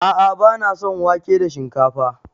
A'a bana son wake da shinkafa.